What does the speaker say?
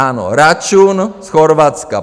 Ano, račun z Chorvatska.